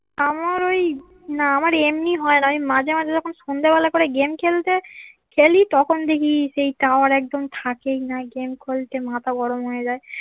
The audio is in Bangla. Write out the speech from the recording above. আমার ওই না আমার এমনি হয়না মাঝে মাঝে যখন সন্ধ্যা বেলায় গেম খেলতে খেলি তখন দেখি সেই টাওয়ার একদম থেকেই না গেম খেলতে মাথা গরম হয়ে যায়